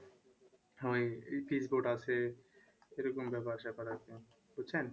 আছে এরকম ব্যাপার স্যাপার একদম বুঝছেন?